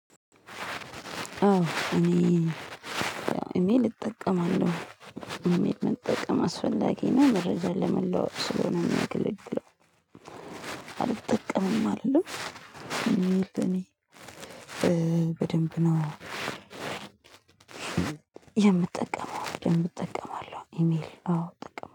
እኔ እኔ ልጠቀማለሁ እኔ ልጠቀም አስፈላጊ መረጃ ለመለዋወጥ ስለሆነ ሚያገለግለው አልጠቅምም አልልም እኔ በደንብ ነው። የምጠቀመው የምጠቀመው ኢሜል አዎ ጥቅም